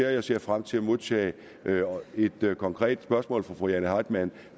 og jeg ser frem til at modtage et konkret spørgsmål fra fru jane heitmann